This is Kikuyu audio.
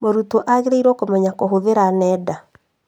Mũrutwo agĩrĩirwo kũmenya kũhũthira nenda